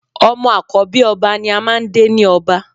Ọmọ àkọ́bí ọba ni a máà ń dé ni ọba